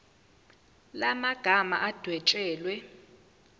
la magama adwetshelwe